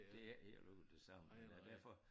Det ikke helt ude det samme men derfor